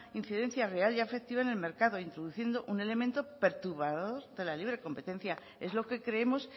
incidencia real y afectiva en el mercado introduciendo un elemento perturbador para la libre competencia es lo que creemos